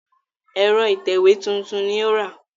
Ẹ̀rọ ìtẹ̀wé tuntun ni ó rà